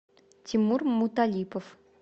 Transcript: тимур муталипов